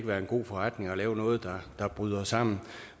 være en god forretning at lave noget der bryder sammen